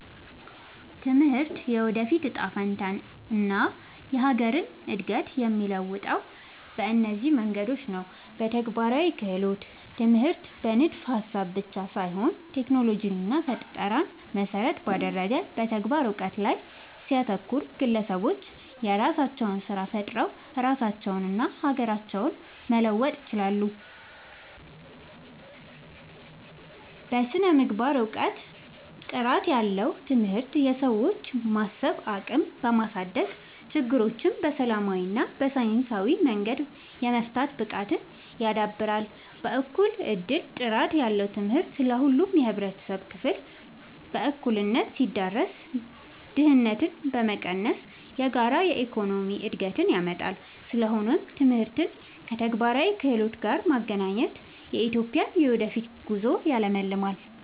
ትምህርት የወደፊት እጣ ፈንታንና የሀገርን እድገት የሚለውጠው በእነዚህ መንገዶች ነው፦ በተግባራዊ ክህሎት፦ ትምህርት በንድፈ-ሀሳብ ብቻ ሳይሆን ቴክኖሎጂንና ፈጠራን መሰረት ባደረገ የተግባር እውቀት ላይ ሲያተኩር፣ ግለሰቦች የራሳቸውን ስራ ፈጥረው ራሳቸውንና ሀገራቸውን መለወጥ ይችላሉ። በስነ-ምግባርና እውቀት፦ ጥራት ያለው ትምህርት የሰዎችን የማሰብ አቅም በማሳደግ፣ ችግሮችን በሰላማዊና በሳይንሳዊ መንገድ የመፍታት ብቃትን ያዳብራል። በእኩል እድል፦ ጥራት ያለው ትምህርት ለሁሉም የህብረተሰብ ክፍል በእኩልነት ሲዳረስ፣ ድህነትን በመቀነስ የጋራ የኢኮኖሚ እድገትን ያመጣል። ስለሆነም ትምህርትን ከተግባራዊ ክህሎት ጋር ማገናኘት የኢትዮጵያን የወደፊት ጉዞ ያለምልማል።